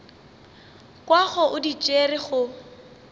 kwago o di tšere go